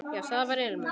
Já, það var ilmur!